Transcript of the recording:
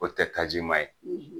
O tɛ taji ma ye